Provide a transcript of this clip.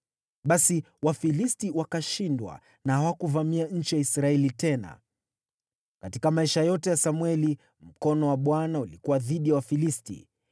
Basi Wafilisti wakashindwa na hawakuvamia nchi ya Israeli tena. Katika maisha yote ya Samweli, mkono wa Bwana ulikuwa dhidi ya Wafilisti.